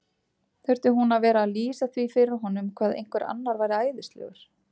Þurfti hún að vera að lýsa því fyrir honum hvað einhver annar væri æðislegur?